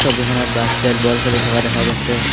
ছবিখনত basketball খেলি থকা দেখা গৈছে।